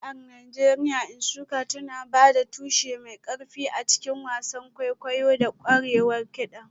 Jami'ar Najeriya Nsukka tana ba da tushe mai ƙarfi a cikin wasan kwaikwayo da ƙwarewar kiɗan.